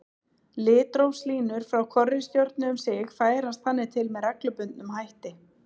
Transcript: Litrófslínur frá hvorri stjörnu um sig færast þannig til með reglubundnum hætti.